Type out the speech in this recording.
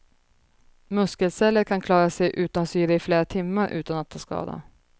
Muskelceller kan klara sig utan syre i flera timmar utan att ta skada.